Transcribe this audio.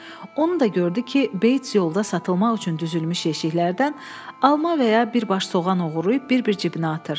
Onu da gördü ki, Beyts yolda satılmaq üçün düzülmüş yeşiklərdən alma və ya bir baş soğan oğurlayıb bir-bir cibinə atır.